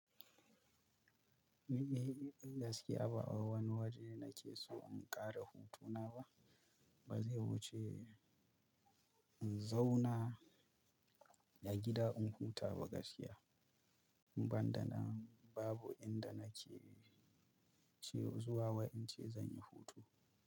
Ni dai gaskiya ba wai wani waje nake so in ƙara hutuna ba. Ba zai wuce in zauna a gida in huta ba gaskiya. Inban da nan babu inda nake ce zuwa wai in ce zan yi hutu.